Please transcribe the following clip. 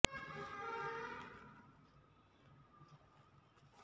ಆಸ್ಪತ್ರೆಯ ಸಿಬ್ಬಂದಿ ಕಡಿಮೆ ರೋಗಿಗಳು ಮತ್ತು ಅವರ ಹೆತ್ತವರ ಆರಾಮ ಕಾಳಜಿ